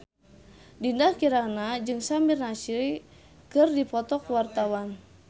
Dinda Kirana jeung Samir Nasri keur dipoto ku wartawan